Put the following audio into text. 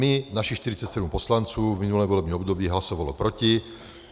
My, našich 47 poslanců, v minulém volebním období hlasovalo proti.